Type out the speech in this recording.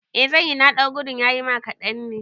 Eh zanyi, na ɗau gudun yayima kaɗan ne